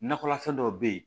Nakɔlafɛn dɔw be yen